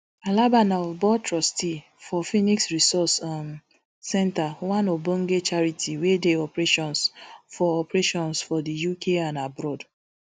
alaba na of board trustee for phoenix resource um centre one ogbonge charity wey dey operations for operations for di uk and abroad